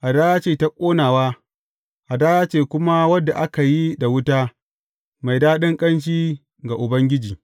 Hadaya ce ta ƙonawa, hadaya ce kuma wadda aka yi da wuta, mai daɗin ƙanshi ga Ubangiji.